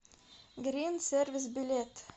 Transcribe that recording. грин сервис билет